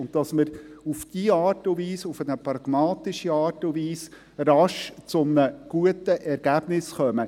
Wir denken, dass wir auf diese Art und Weise, auf eine pragmatische Art und Weise rasch zu einem guten Ergebnis kommen.